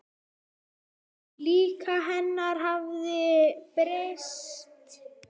Líf hennar hafði breyst.